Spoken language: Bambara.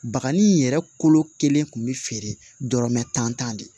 Bakanni yɛrɛ kolo kelen kun bɛ feere dɔrɔmɛ tan de